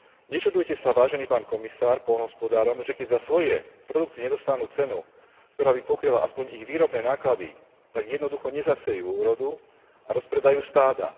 Nečudujte sa, Vážený pán komisár, poľnohospodárom, že keď za svoje produkty nedostanú cenu, ktorá by pokryla aspoň ich výrobné náklady, tak jednoducho nezasejú úrodu a rozpredajú stáda.